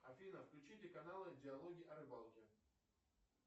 афина включите каналы диалоги о рыбалке